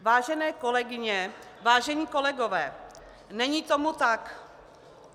Vážené kolegyně, vážení kolegové, není tomu tak.